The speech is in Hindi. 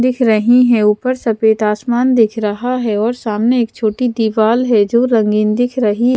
दिख रही है ऊपर सफेद आसमान दिख रहा है और सामने एक छोटी दीवार है जो रंगीन दिख रही है।